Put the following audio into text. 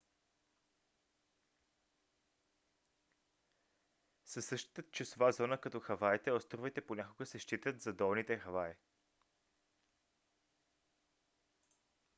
със същата часова зона като хаваите островите понякога се считат за долните хаваи